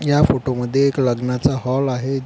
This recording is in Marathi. ह्या फोटो मध्ये एक लग्नाचा हॉल आहे.